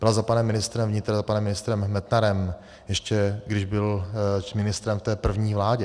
Byla za panem ministrem vnitra, za panem ministrem Metnarem, ještě když byl ministrem v té první vládě.